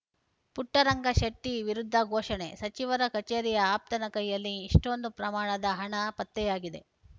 ಪುಟ್ಟರಂಗ ಶೆಟ್ಟಿವಿರುದ್ಧ ಘೋಷಣೆ ಸಚಿವರ ಕಚೇರಿಯ ಆಪ್ತನ ಕೈಯಲ್ಲಿ ಇಷ್ಟೊಂದು ಪ್ರಮಾಣದ ಹಣ ಪತ್ತೆಯಾಗಿದೆ